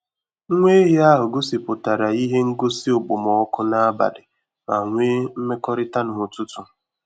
Nwa ehi ahụ gosipụtara ihe ngosi okpomọkụ n'abalị ma nwee mmekọrịta n'ụtụtụ.